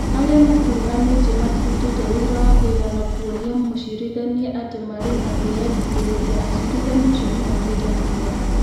Arĩa makuruhanĩtio matirutĩte wũira wa kũigana kuonia mũcirithania atĩ mararĩ na kwĩyendithĩrĩria acirithania acio nĩmatuĩte matua